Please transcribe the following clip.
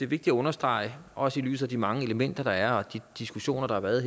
vigtigt at understrege også i lyset af de mange elementer der er og de diskussioner der har været